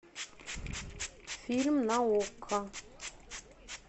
фильм на окко